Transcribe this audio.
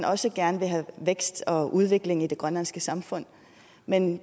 også gerne vil have vækst og udvikling i det grønlandske samfund men